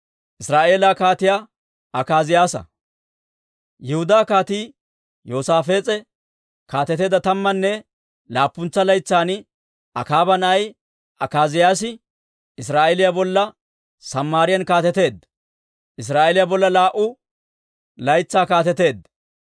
Yihudaa Kaatii Yoosaafees'e kaateteedda tammanne laappuntsa laytsan Akaaba na'ay Akaaziyaasi Israa'eeliyaa bolla Samaariyaan kaateteedda; Israa'eeliyaa bolla laa"u laytsaa kaateteedda.